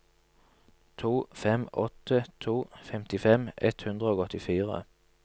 to fem åtte to femtifem ett hundre og åttifire